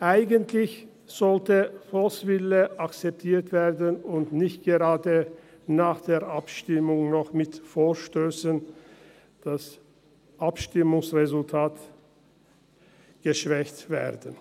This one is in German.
Eigentlich sollte der Volkswille akzeptiert werden und nicht gerade nach der Abstimmung noch das Abstimmungsresultat mit Vorstössen geschwächt werden.